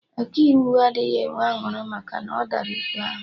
Ọkaiwu adịghị enwe aṅụrị maka na ọ dara ikpe ahụ